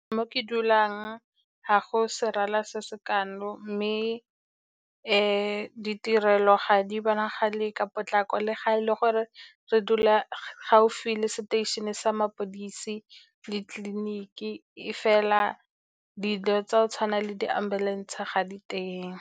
Mo ke dulang ga go serala se se kalo, mme ditirelo ga di bonagale ka potlako, le ga e le gore re dula gaufi le seteišene sa mapodisi le tleliniki, e fela dilo tsa go tshwana le di-ambulance ga di teng.